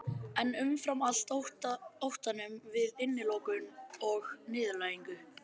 En umfram allt óttanum við innilokun og niðurlægingu.